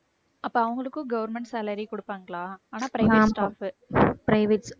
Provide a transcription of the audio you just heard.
அப்போ அவங்களுக்கும் government salary கொடுப்பாங்களா ஆனா private staff உ